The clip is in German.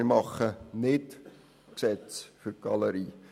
Wir machen die Gesetze nicht für die Galerie.